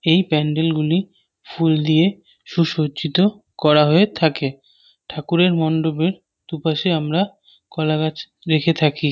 এই প্যান্ডেল গুলি ফুল দিয়ে সুসজ্জিত করা হয়ে থাকে। ঠাকুরের মন্ডপে দুপাশে আমরা কলাগাছ দেখে থাকি।